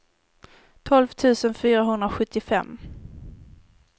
tolv tusen fyrahundrasjuttiofem